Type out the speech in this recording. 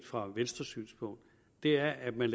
fra venstres synspunkt er at man